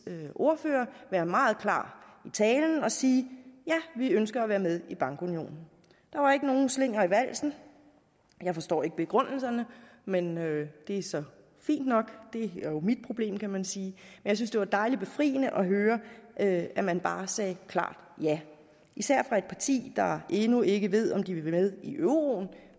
ordfører være meget klar i talen og sige ja vi ønsker at være med i bankunionen der var ikke nogen slinger i valsen jeg forstår ikke begrundelserne men det er så fint nok det er jo mit problem kan man sige jeg synes det var dejlig befriende at at man bare sagde klart ja især fra et parti der endnu ikke ved om de vil med i euroen